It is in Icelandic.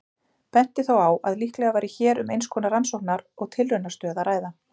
Benti þó á að líklega væri hér um eins konar rannsókna- og tilraunastöð að ræða.